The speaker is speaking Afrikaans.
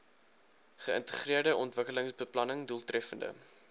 geïntegreerde ontwikkelingsbeplanning doeltreffende